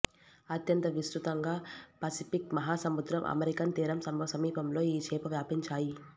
అత్యంత విస్తృతంగా పసిఫిక్ మహాసముద్రం అమెరికన్ తీరం సమీపంలో ఈ చేప వ్యాపించాయి